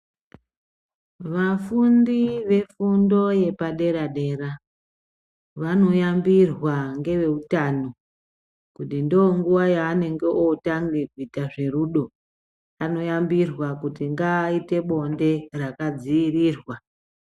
Vafundi vefundo yepadera-dera, vanoyambirwa ngeve utano. Kuti ndonguva yaanenge otange kuite zverudo anoyambirwa kuti ngaite bonde rakadzirirwa.